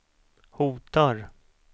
hotar